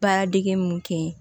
Baaradege mun kɛ ye